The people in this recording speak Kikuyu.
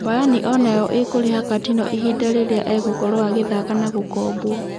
Bayani onayo ĩkũrĩha Katino ihinda rĩrĩa egũkorwo agithaka na gũkobwo.